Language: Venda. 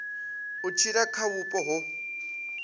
u tshila kha vhupo ho